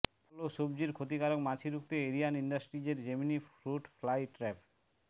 ফল ও সবজির ক্ষতিকারক মাছি রুখতে এরিয়ান ইন্ডাসট্রিজের জেমিনি ফ্রুট ফ্লাই ট্র্যাপ